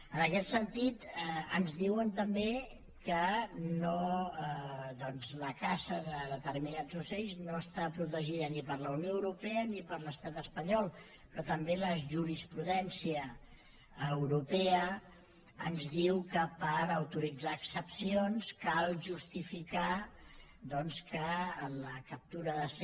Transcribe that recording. en aquest sentit ens diuen també que doncs la caça de determinats ocells no està protegida ni per la unió europea ni per l’estat espanyol però també la jurisprudència europea ens diu que per autoritzar excepcions cal justificar que la captura ha de ser